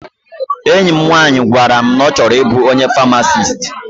Enyi m nwaanyị gwara m na ọ chọrọ ịbụ onye famasist.